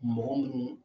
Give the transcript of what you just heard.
Mɔgɔ munnu